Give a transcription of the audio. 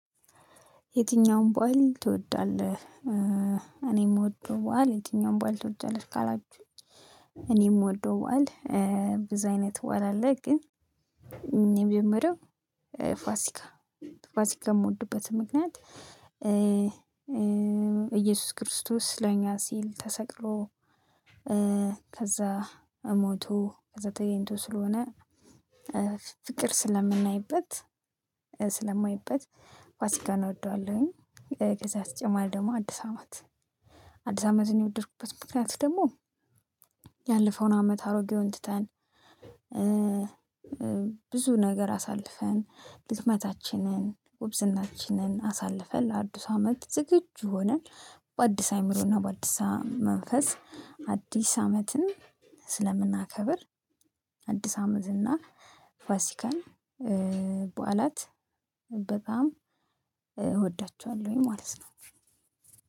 የትኛውም ባል ትወዳለህ? እኔም እወደዋለሁ። የትኛውም ባል ትወዳለህ ካላችሁ? እኔ የምወደው በዓል በዛ አይነት በዓል አለ። ግን እኔም የምወደው ፋሲካ። ፋሲካ የምወድበት ምክንያት እየሱስ ክርስቶስ ለኛ ሲል ተሰቅሎ ከዛ እሞቱ ከዛ ተገኝቶ ስለሆነ ፍቅር ስለምናይበት ስለማይበት ፋሲካን እውደዋለሁኝ። ከዛ በተጨማሪ ደግሞ አዲስ አመት። አዲስ አመትን የወደድኩበት ምክንያት ደግሞ ያለፈውን አመት አሮጌውን ትተን። ብዙ ነገር አሳልፈን ድክመታችንን ጉብዝናችንን አሳልፈን ለአዱስ አመት ዝግጁ ሆነን በአዲስ አእምሮና በአዲስ መንፈስ አዲስ አመትን ስለምናከብር። አዲስ አመት እና ፋሲካን በዓላት በጣም እወዳቸዋለሁ ማለት ነው